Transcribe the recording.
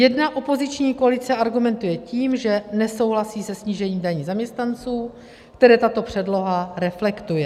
Jedna opoziční koalice argumentuje tím, že nesouhlasí se snížením daní zaměstnanců, které tato předloha reflektuje.